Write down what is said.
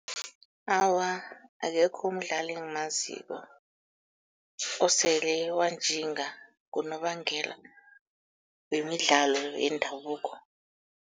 Awa, akekho umdlali engimaziko osele wanjinga ngonobangela wemidlalo yendabuko.